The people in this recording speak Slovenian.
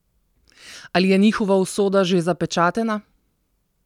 Ali je njihova usoda že zapečatena?